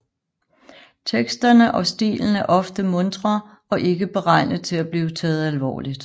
Teksterne og stilen er ofte muntre og ikke beregnet til at blive taget alvorligt